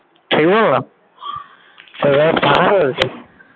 ঠিক বললাম